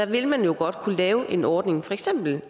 ville man jo godt kunne lave en ordning for eksempel en